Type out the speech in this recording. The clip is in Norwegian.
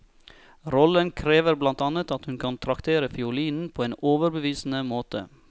Rollen krever blant annet at hun kan traktere fiolinen på en overbevisende måte.